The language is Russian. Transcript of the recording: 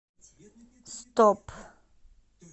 стоп